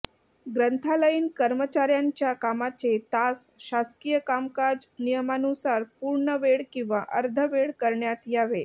ग्रंथालयीन कर्मचाऱयांच्या कामाचे तास शासकीय कामकाज नियमानुसार पूर्णवेळ किंवा अर्धवेळ करण्यात यावे